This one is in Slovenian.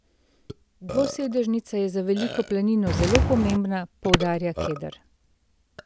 Dvosedežnica je za Veliko planino zelo pomembna, poudarja Keder.